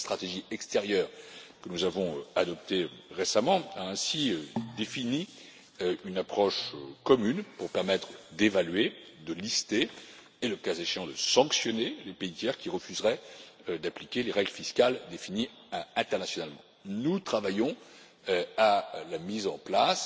La stratégie extérieure que nous avons adoptée récemment a ainsi défini une approche commune pour permettre d'évaluer, de lister et, le cas échéant, de sanctionner les pays tiers qui refuseraient d'appliquer les règles fiscales définies internationalement. Nous travaillons à la mise en place,